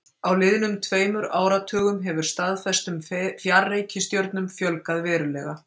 Á liðnum tveimur áratugum hefur staðfestum fjarreikistjörnum fjölgað verulega.